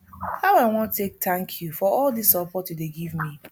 how i wan take thank you for all dis support you dey give me